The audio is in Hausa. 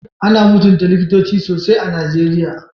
Ana mutunta Likitoci sosai a Nigeriya.